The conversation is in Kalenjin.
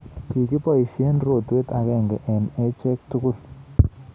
Kikiboisye rotwet agenge eng acheek tugul